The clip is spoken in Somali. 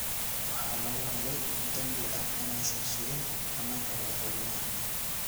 Waxaa lagu helay dambi ah inaysan sugin ammaanka madaxweynaha.